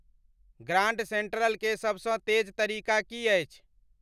grand central के सबसँ तेज तरीका की अछि